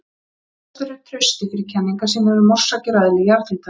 Þekktastur er Trausti fyrir kenningar sínar um orsakir og eðli jarðhitans.